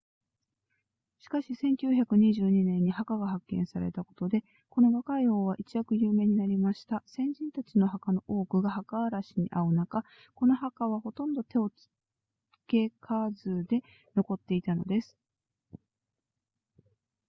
しかし1922年に墓が発見されたことでこの若い王は一躍有名になりました先人たちの墓の多くが墓荒らしに遭う中この墓はほとんど手をつけかずで残っていたのです